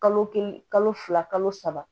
Kalo kelen kalo fila kalo saba